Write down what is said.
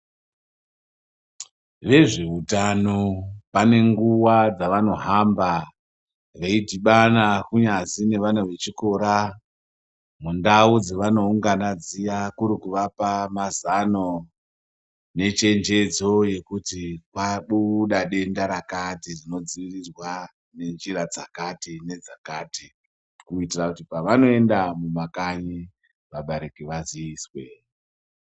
Vezvehutano vane nguva dzavanohamba veidhibana kunyazi nevana vechikora mundau dzavanoungana dziya, kuri kuvapa mazano nechenjedzo yekuti kwabuda denda rakati rinodziirirwa ngenjira dzakati ,kuitira pavanoenda mumakanyi vabereki vaziiswe.